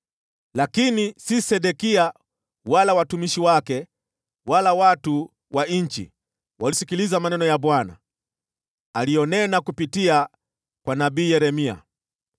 Lakini sio Sedekia, wala watumishi wake, wala watu wa nchi walisikiliza maneno ya Bwana aliyonena kupitia kwa nabii Yeremia.